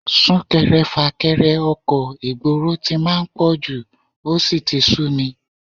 Sún-kẹrẹ-fà-kẹrẹ ọkọ̀ ìgboro tí máa ń pọ̀jù, ó sì ti súmi